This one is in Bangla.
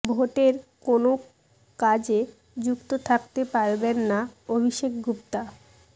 ভোটের কোনও কাজে যুক্ত থাকতে পারবেন না অভিষেক গুপ্তা